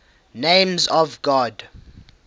names of god